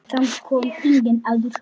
Þangað kom enginn áður.